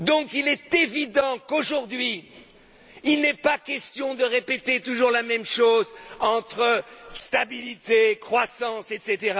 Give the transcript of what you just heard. Il est évident donc qu'aujourd'hui, il n'est pas question de répéter toujours la même chose, entre stabilité, croissance, etc.